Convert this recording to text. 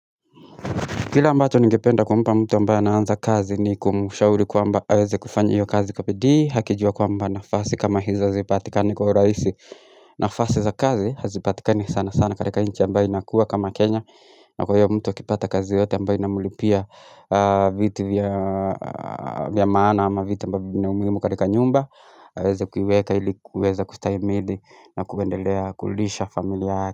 Kile ambacho ningependa kumpa mtu ambaye anaanza kazi ni kumshauri kwamba aweze kufanya hiyo kazi kwa bidii akijua kwamba nafasi kama hizo hazipatikani kwa urahisi nafasi za kazi hazipatikani sana sana katika nchi ambayo inakua kama Kenya na kwa hiyo mtu akipata kazi yoyote ambayo inamlipia vitu vya vya maana ama vitu ambavyo vina umuhimu katika nyumba aweze kuiweka ili kuweza kustahimili na kuendelea kulisha familia yake.